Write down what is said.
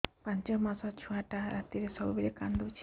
ପାଞ୍ଚ ମାସ ଛୁଆଟା ରାତିରେ ସବୁବେଳେ କାନ୍ଦୁଚି